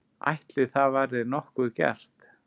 Ætli það verði nokkuð gert?